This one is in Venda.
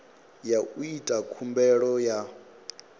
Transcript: ya u ita khumbelo ya